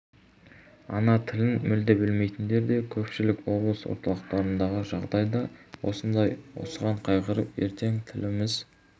ана тілін мүлде білмейтіндер де көпшілік облыс орталықтарындағы жағдай да осындай осыған қайғырып ертең тіліміз